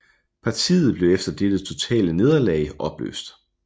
Partiet blev efter dette totale nederlag opløst